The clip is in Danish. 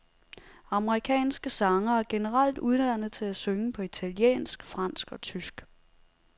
Amerikanske sangere er generelt uddannet til at synge på italiensk, fransk og tysk.